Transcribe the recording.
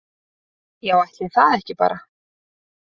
Já ætli það ekki bara.